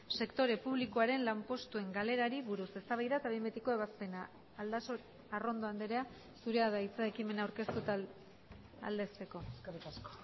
sektore publikoaren lanpostuen galerari buruz eztabaida eta behin betiko ebazpena arrondo andrea zurea da hitza ekimena aurkeztu eta aldezteko eskerrik asko